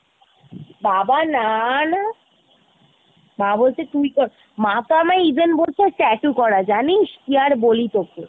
বাবা না না , মা বলছে তুই কর মা তো আমায় even বলছে tattoo করা জানিস ? কি আর বলি তোকে!